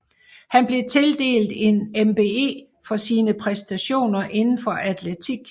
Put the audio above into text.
Han blev tildelt en MBE for sine præstationer inden for atletik